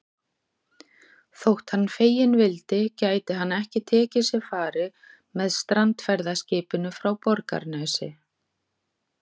Þótt hann feginn vildi gæti hann ekki tekið sér fari með strandferðaskipinu frá Borgarnesi.